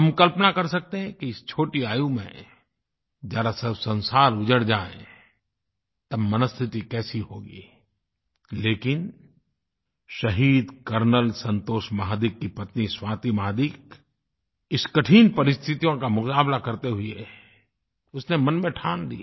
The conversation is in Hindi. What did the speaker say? हम कल्पना कर सकते हैं कि इस छोटी आयु में जब संसार उजड़ जाये तो मनस्थिति कैसे होगी लेकिन शहीद कर्नल संतोष महादिक की पत्नी स्वाति महादिक इस कठिन परिस्थितियों का मुक़ाबला करते हुए उसने मन में ठान ली